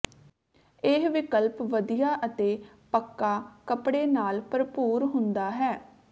ਇਹ ਵਿਕਲਪ ਵਧੀਆ ਅਤੇ ਪੱਕਾ ਕੱਪੜੇ ਨਾਲ ਭਰਪੂਰ ਹੁੰਦਾ ਹੈ